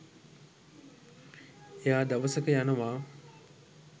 එයා දවසක යනවා